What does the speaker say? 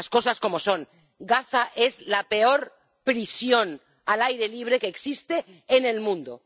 Las cosas como son Gaza es la peor prisión al aire libre que existe en el mundo.